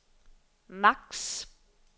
max